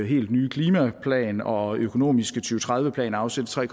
helt nye klimaplan og økonomiske to tredive plan afsætte tre